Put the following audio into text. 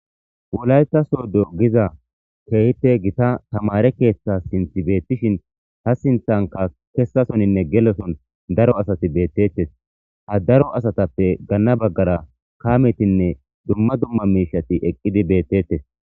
Wolayta sodo giza keehippe gita tamare keeththa sinththi beettishin ha sinthanka kessasoninne geloson daro asati beettettes ha daro asatappe ganna baggara kaametinne dumma dumma miishati eqqidi beettettes